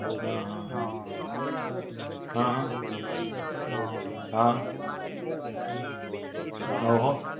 હાં હાં હાં, હાં હાં, હાં, ઓહો.